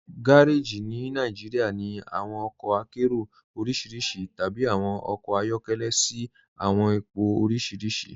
Gàrèjí ní Nàìjíríà ní awọn ọkọ àkéró orísíríṣí tàbí awọn ọkọ ayọkẹlẹ̀ sí awọn ìpọ̀ orísíríṣí.